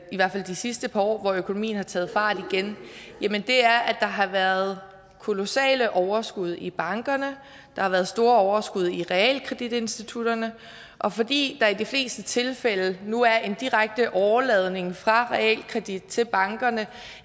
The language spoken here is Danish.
i hvert fald de sidste par år hvor økonomien har taget fart igen er at der har været kolossale overskud i bankerne der har været store overskud i realkreditinstitutterne og fordi der i de fleste tilfælde nu er en direkte åreladning fra realkredit til bankerne